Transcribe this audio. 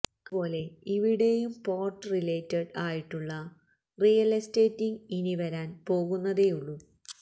അതുപോലെ ഇവിടേയും port related ആയിട്ടുള്ള റിയല് എസ്റ്റേറ്റിംഗ് ഇനിവരാന് പോകുന്നതേയുള്ളു